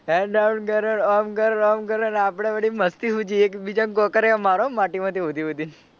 hand આમ કરો ને આમ કરો ને આમ કરો આપડે વળી મસ્તી સુઝી એકબીજા ને કાંકરીઓ મારો માટી માંથી સોધી સોધી ને.